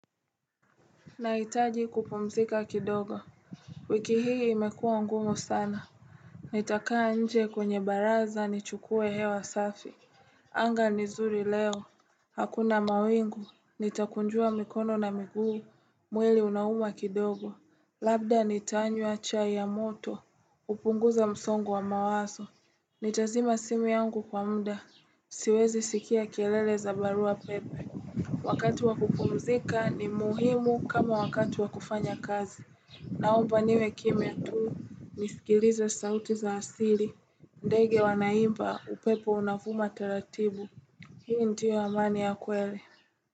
Nahitaji kupumzika kidogo. Wiki hii imekua ngumu sana Nitakaa nje kwenye baraza nichukue hewa safi anga ni nzuri leo, hakuna mawingu nitakunjua mikono na miguu mwili unauma kidogo Labda nitanywa chai ya moto upunguze msongo wa mawazo Nitazima simu yangu kwa muda siwezi skia kelele za barua pepe Wakati wa kupumzika ni muhimu kama wakati wa kufanya kazi. Naomba niwe kimya tuu nisikilize sauti za asili. Ndege wanaimba upepo unavuma taratibu. Hii ndiyo amani ya kweli.